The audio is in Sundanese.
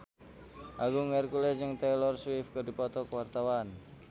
Agung Hercules jeung Taylor Swift keur dipoto ku wartawan